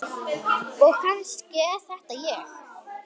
Og kannski er þetta ég.